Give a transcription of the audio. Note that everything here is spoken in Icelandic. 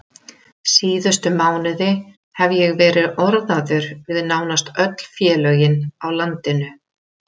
Síðustu mánuði hef ég verið orðaður við nánast öll félögin á landinu.